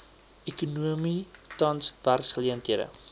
ekonomie tans werksgeleenthede